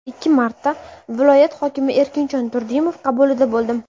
Ikki marta viloyat hokimi Erkinjon Turdimov qabulida bo‘ldim.